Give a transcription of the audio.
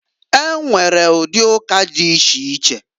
E nwere ụdị ụka dị iche iche.